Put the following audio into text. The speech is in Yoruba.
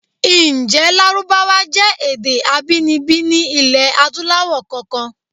Ǹjé Lárúbáwá jẹ́ èdè abíninibí ní ilẹ̀ Adúláwọ̀ kankan?